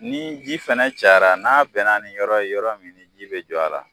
Ni ji fana cayara n'a bɛnna ni yɔrɔ ye yɔrɔ min ji bɛ jɔ a la